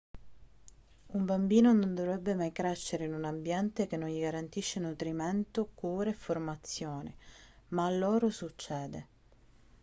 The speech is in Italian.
un bambino non dovrebbe mai crescere in un ambiente che non gli garantisce nutrimento cura e formazione ma a loro succede